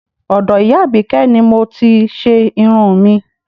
Ọdọ ìyá abike ni mo ti ṣe irun mi